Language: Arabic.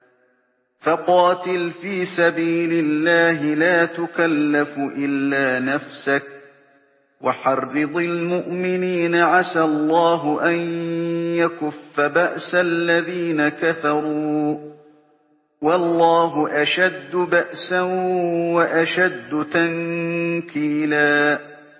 فَقَاتِلْ فِي سَبِيلِ اللَّهِ لَا تُكَلَّفُ إِلَّا نَفْسَكَ ۚ وَحَرِّضِ الْمُؤْمِنِينَ ۖ عَسَى اللَّهُ أَن يَكُفَّ بَأْسَ الَّذِينَ كَفَرُوا ۚ وَاللَّهُ أَشَدُّ بَأْسًا وَأَشَدُّ تَنكِيلًا